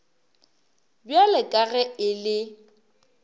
bjalo ka ge e le